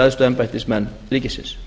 æðstu embættismenn ríkisins